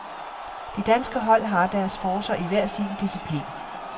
De danske hold har deres forcer i hver sin disciplin.